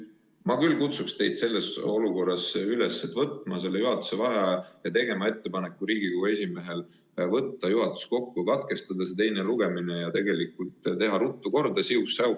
Ma kutsun teid üles selles olukorras võtma juhatuse vaheaja ja tegema Riigikogu esimehele ettepaneku kutsuda kokku juhatus, katkestada teine lugemine ja teha ruttu siuh-säuh!